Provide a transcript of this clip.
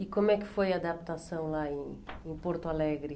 E como é que foi a adaptação lá em em Porto Alegre?